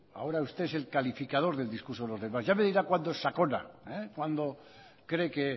ahora usted es el calificador del discurso de los demás ya me dirá cuando es sakona cuando cree que